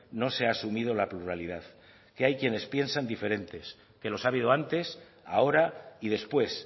no se ha asumido la pluralidad que hay quienes piensan diferentes que los ha habido antes ahora y después